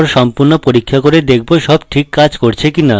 তারপর সম্পূর্ণ পরীক্ষা করে দেখব সব ঠিক কাজ করছে কিনা